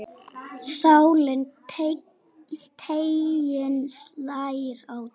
Sláninn teiginn slær á degi.